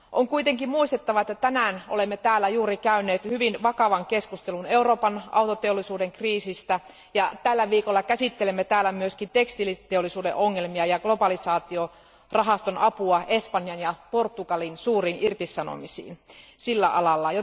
On kuitenkin muistettava, että tänään olemme juuri käyneet täällä hyvin vakavan keskustelun Euroopan autoteollisuuden kriisistä ja tällä viikolla käsittelemme myös tekstiiliteollisuuden ongelmia ja globalisaatiorahaston apua Espanjan ja Portugalin suuriin irtisanomisiin sillä alalla.